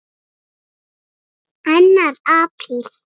ANNAR APRÍL